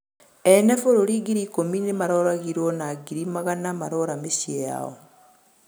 ene bũrũrĩ ngĩrĩ ĩkũmĩ nimaroragĩrwo na ngĩrĩ magana marora mĩcĩĩ yao